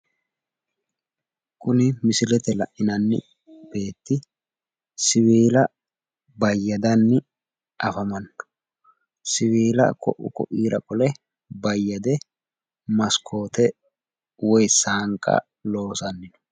Kuni misilete la'inanni beetti siwiila bayyadanni afamanno. Siwiila ko'e ko'iira qole bayyade maskoote woyi saanqa looosanni no.